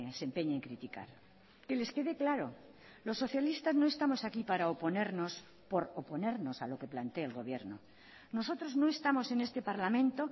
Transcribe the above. se empeñe en criticar que les quede claro los socialistas no estamos aquí para oponernos por oponernos a lo que plantee el gobierno nosotros no estamos en este parlamento